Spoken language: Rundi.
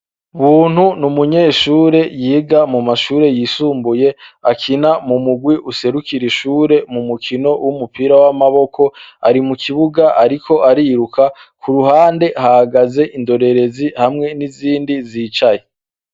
Buntu ni umunyeshure yiga mu mashure yisumbuye, akina mu murwi userukira ishure mu mukino w'umupira w'amaboko. Ari mu kibuga ariko ariruka. K'uruhande, hahagaze indorerezi hamwe n'izindi zicaye.